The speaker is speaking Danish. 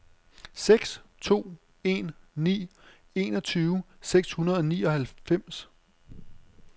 seks to en ni enogtyve seks hundrede og nioghalvfems